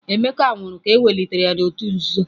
Emeka nwụrụ ka ewelitere ya n'òtù nzuzo.